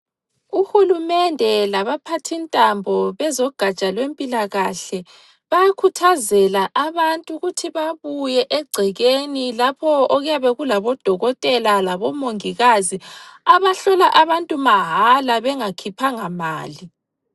Uhulumende laba phathintambo bezogaja lempilakahle bayakhuthazela abantu ukuthi babuye egcekeni lapho okuyabe kulabo odokotela labo mongikazi abahlola abantu mahala bengakhiphanga mali.